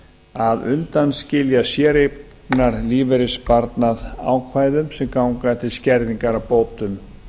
að undanskilja séreignarlífeyrissparnað ákvæðum sem ganga til skerðingar á bótum